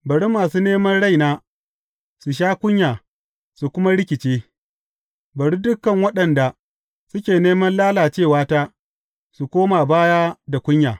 Bari masu neman raina su sha kunya su kuma rikice; bari dukan waɗanda suke neman lalacewata su koma baya da kunya.